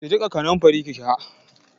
Ki jiƙa kanamfari ki sha.